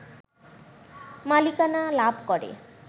মালিকানা লাভ করে